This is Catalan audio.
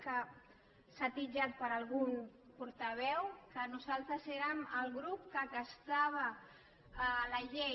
que s’ha titllat per algun portaveu que nosaltres érem el grup que castrava la llei